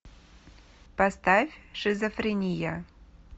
поставь шизофрения